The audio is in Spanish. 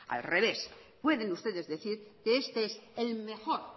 al revés pueden ustedes decir que este es el mejor